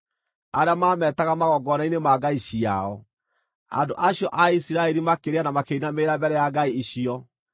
arĩa mameetaga magongona-inĩ ma ngai ciao. Andũ acio a Isiraeli makĩrĩa na makĩinamĩrĩra mbere ya ngai icio.